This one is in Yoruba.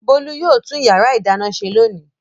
Bólú yóò tún ìyàrá-ìdáná ṣe lónìí.